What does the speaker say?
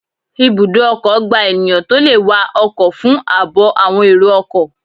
Ibùdó ọkọ̀ gba ènìyàn tó le wa ọkọ̀ fún àbò àwọn èrò ọkọ̀